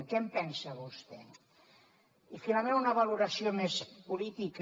què en pensa vostè i finalment una valoració més política